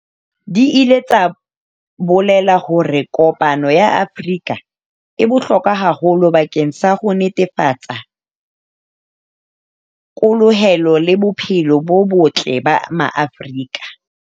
Di ile tsa bolela hore kopano ya Afrika e bohlokwa haholo bakeng sa ho netefatsa the kolohelo le bophelo bo botle ba Maafrika.